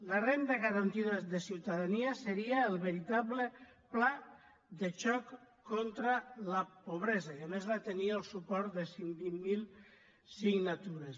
la renda garantida de ciutadania seria el veritable pla de xoc contra la pobresa i a més va tenir el suport de cent i vint miler signatures